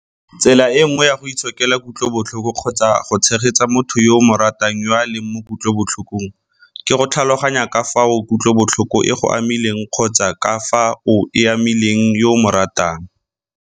Tsela e nngwe ya go itshokela kutlobotlhoko kgotsa go tshegetsa motho yo o mo ratang yo a leng mo kutlobotlhokong ke go tlhaloganya ka fao kutlobotlhoko e go amileng kgotsa ka fao e amileng yo o mo ratang.